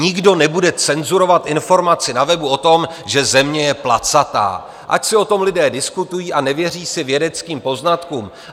Nikdo nebude cenzurovat informaci na webu o tom, že Země je placatá, ať si o tom lidé diskutují a nevěří si vědeckým poznatkům.